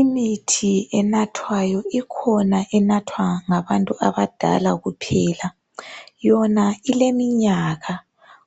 Imithi enathwayo ikhona enathwa ngabantu abadala kuphela, yona ileminyaka